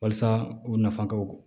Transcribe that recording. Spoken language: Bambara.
Walasa u nafan ka bon